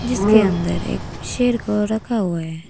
इसके अंदर एक शेर को रखा हुआ है।